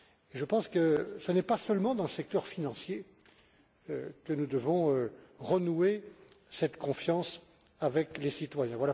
Je pense que ce n'est pas seulement dans le secteur financier que nous devons renouer cette confiance avec les citoyens.